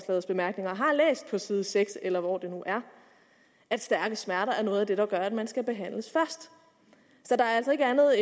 har læst på side seks eller hvor det nu er at stærke smerter er noget af det der gør at man skal behandles først så der er altså ikke andet